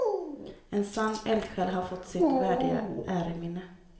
En sann eldsjäl har fått sitt värdiga äreminne.